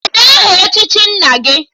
Kedụ aha echichi nna gị?